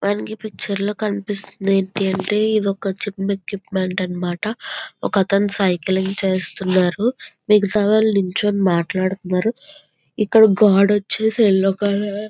మనకి పిక్చర్లో కనిపిస్తుంది ఏంటి అంటేఇది ఒక జిమ్ ఎక్విప్మెంట్ అన్న మాట. ఒక అతను సైక్లింగ్ చేస్తున్నాడు.మిగతా వాళ్ళు నించొని మాట్లాడుతున్నారు.ఇక్కడ గోడ వచ్చేసి ఎల్లో కలర్--